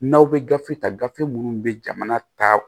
N'aw bɛ gafe ta gafe minnu bɛ jamana ta